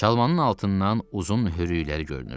Çalmanın altından uzun hörükləri görünürdü.